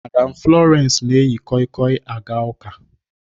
Madam Florence na-eyi koi koi aga ụka